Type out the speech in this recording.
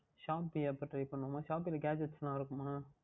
Shopee அப்பொழுது Try பண்ணுவோம்மா Shopee யில் Gadget எல்லாம் இருக்குமா